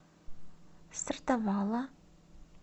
сортавала